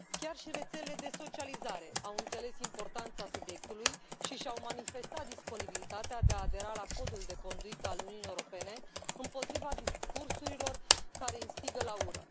Chiar și rețelele de socializare au înțeles importanța subiectului și și au manifestat disponibilitatea de a adera la Codul de conduită al Uniunii Europene împotriva discursurilor care instigă la ură.